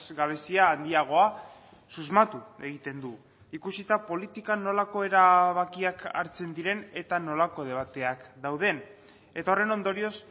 gabezia handiagoa susmatu egiten du ikusita politikan nolako erabakiak hartzen diren eta nolako debateak dauden eta horren ondorioz